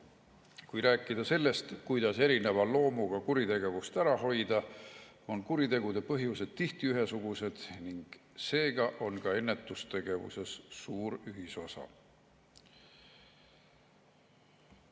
Kui rääkida sellest, kuidas erineva loomuga kuritegevust ära hoida, siis kuritegude põhjused on tihti ühesugused ning seega on ka ennetustegevuses suur ühisosa.